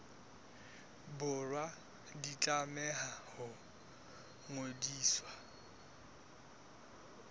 borwa di tlameha ho ngodiswa